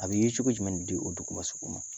A bɛ yecogo jumɛn de di o duguba sugu ma